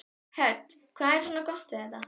Hödd: Hvað er svona gott við þetta?